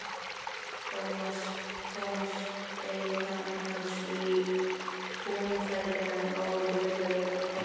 Thomas beið hans í túnfætinum, áhyggjufullur á svip.